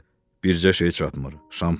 Bircə şey çatmır, Şampanski.